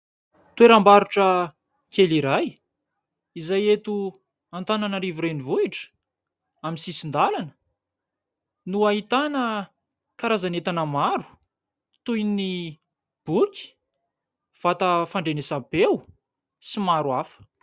Toeram-barotra kely iray izay eto Antananarivo renivohitra. Amin'ny sisin-dalana no ahitana karazana entana maro toy ny boky, vata fandrenesam-peo sy maro hafa.